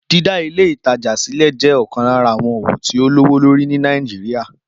Dídá Ilé-ìtajà sílẹ̀ jẹ́ ọ̀kan lára àwọn òwò tó lówó lórí ní Nàìjíríà